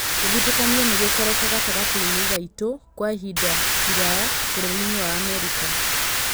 Gũthutũkanio nĩ gũkoretwo gatagatĩ inĩ gaitũ kwa ĩ hinda iraya bũrũri-inĩ wa Amerika.